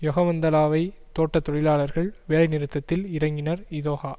யொகவந்தலாவை தோட்ட தொழிலாளர்கள் வேலை நிறுத்தத்தில் இறங்கினர் இதொகா